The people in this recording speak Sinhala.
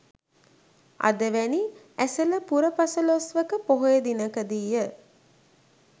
අද වැනි ඇසළ පුර පසළොස්වක පොහොය දිනකදීය